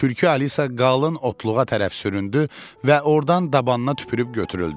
Tülkü Alisa qalın otluğa tərəf süründü və ordan dabanına tüpürüb götürüldü.